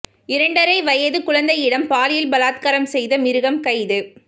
இரண்டரை வயது குழந்தையிடம் பாலியல் பலாத்காரம் செய்த மிருகம் கைது